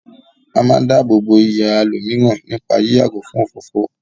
A máa ń dáàbò bo iyì àwọn ẹlòmíràn nípá yí yàgò fún òfófó.